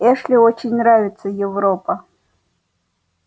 эшли очень нравится европа